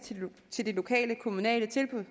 til det lokale kommunale tilbud